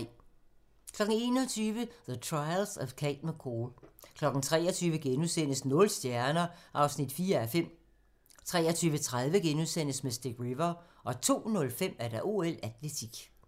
21:00: The Trials of Cate McCall 23:00: Nul stjerner (4:5)* 23:30: Mystic River * 02:05: OL: Atletik